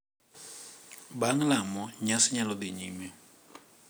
Bang’ lamo, nyasi nyalo dhi nyime .